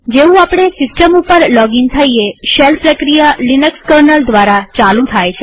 જેવું આપણે સિસ્ટમ ઉપર લોગઇન થઈએ શેલ પ્રક્રિયા લિનક્સ કર્નલ દ્વારા ચાલુ થાય છે